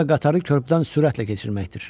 O da qatarı körpüdən sürətlə keçirməkdir.